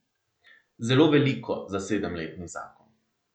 Zelo veliko za sedemletni zakon.